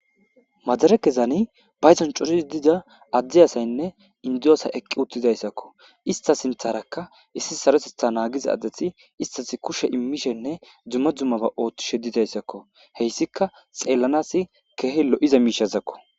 Madare kezani bayson curhiz dida addi asaynne indiyoosa eqqi uttidayssakko ista sintharakka issi sarosetha naagiza adethi istas kushe immishenne dzumma dzummaba ooththishe didayssakko heyssika xeellanas keehe lo7iza miishazakko.